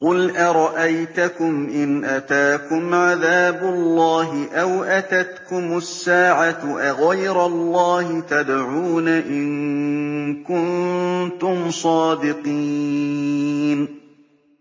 قُلْ أَرَأَيْتَكُمْ إِنْ أَتَاكُمْ عَذَابُ اللَّهِ أَوْ أَتَتْكُمُ السَّاعَةُ أَغَيْرَ اللَّهِ تَدْعُونَ إِن كُنتُمْ صَادِقِينَ